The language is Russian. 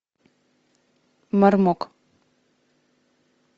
мармок